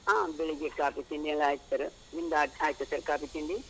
ಹಾ ಬೆಳಗ್ಗೆ ಕಾಫಿ, ತಿಂಡಿಯೆಲ್ಲ ಆಯ್ತು sir , ನಿಮ್ದು ಆದ್, ಆಯ್ತಾ sir ಕಾಫಿ, ತಿಂಡಿ?